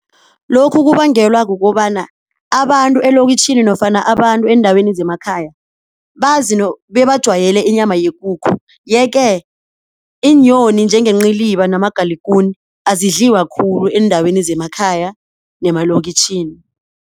Lokhu kubangelwa kukobana abantu elokitjhini nofana abantu eendaweni zemakhaya bebajwayele inyama yekukhu. Yeke iinyoni njengenciliba namagalugune azidliwa khulu eendaweni zemakhaya nemalokitjhini.